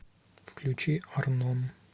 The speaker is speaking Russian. включи арнон